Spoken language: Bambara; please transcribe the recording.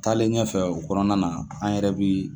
Taalen ɲɛfɛ o kɔnɔna na an yɛrɛ bi